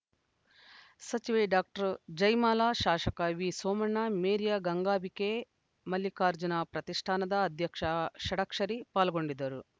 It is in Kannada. ಸಚಿವೆ ಡಾಕ್ಟರ್ ಜಯಮಾಲಾ ಶಾಸಕ ವಿಸೋಮಣ್ಣ ಮೇರಿಯ ಗಂಗಾಂಬಿಕೆ ಮಲ್ಲಿಕಾರ್ಜುನ ಪ್ರತಿಷ್ಠಾನದ ಅಧ್ಯಕ್ಷ ಷಡಕ್ಷರಿ ಪಾಲ್ಗೊಂಡಿದ್ದರು